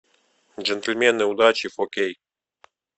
джентльмены удачи фо кей